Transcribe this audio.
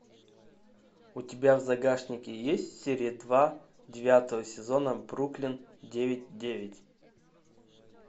у тебя в загашнике есть серия два девятого сезона бруклин девять девять